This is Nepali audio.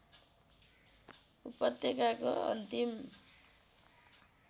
उपत्यकाको अन्तिम